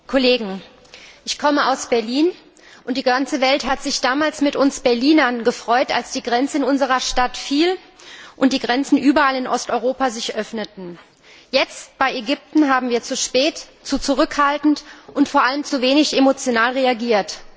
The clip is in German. Herr Präsident, liebe Kolleginnen und Kollegen! Ich komme aus Berlin, und die ganze Welt hat sich damals mit uns Berlinern gefreut, als die Grenze in unserer Stadt fiel und die Grenzen sich überall in Osteuropa öffneten. Jetzt, im Fall Ägyptens, haben wir zu spät, zu zurückhaltend und vor allem zu wenig emotional reagiert.